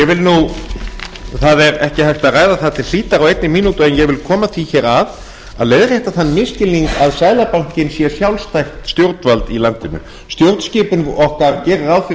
frú forseti það er ekki hægt að ræða það til hlítar á einni mínútu en ég vil koma því hér að að leiðrétta þann misskilning að seðlabankinn sé sjálfstætt stjórnvald í landinu stjórnskipun okkar gerir